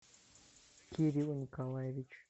кирилл николаевич